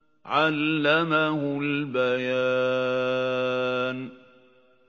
عَلَّمَهُ الْبَيَانَ